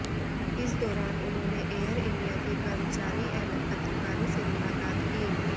इस दौरान उन्होंने एयर इंडिया के कर्मचारी एवं पत्रकारों से मुलाकात की